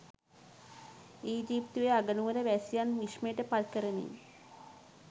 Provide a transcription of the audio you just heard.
ඊජිප්තුවේ අගනුවර වැසියන් විශ්මයට පත් කරමින්